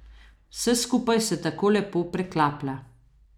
Vse skupaj se tako lepo preklaplja.